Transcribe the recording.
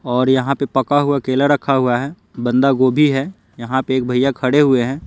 और यहाँ पे पका हुआ केला रखा हुआ है बंधागोभी है यहाँ पे एक भैया खड़े हुए है।